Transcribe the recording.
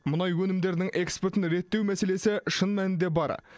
мұнай өнімдерінің экспортын реттеу мәселесі шын мәнінде бар